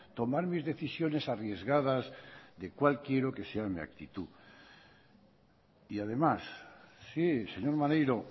tomar mis decisiones arriesgadas de cuál quiero que sea mi actitud y además sí señor maneiro